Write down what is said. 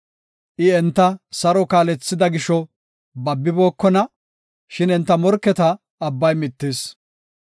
I enta saro kaalethida gisho babibookona; shin enta morketa abbay mittis.